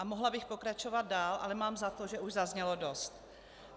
A mohla bych pokračovat dál, ale mám za to, že už zaznělo dost.